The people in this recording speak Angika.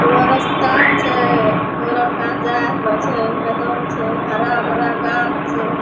एगो रास्ता छे एगो लड़का जाय रहलो छै मैदान छै हरा-भरा गाछ छै।